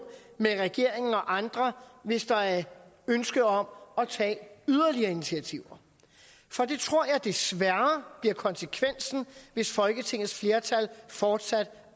med regeringen og andre hvis der er ønske om at tage yderligere initiativer for det tror jeg desværre bliver konsekvensen hvis folketingets flertal fortsat